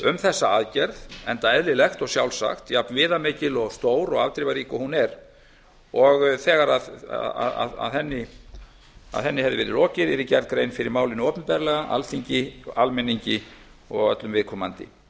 um þessa aðgerð enda eðlilegt og sjálfsagt jafnviðamikil og stór og afdrifarík og hún er og þegar henni hefði verið lokið yrði gerð grein fyrir málinu opinberlega alþingi almenningi og öllum viðkomandi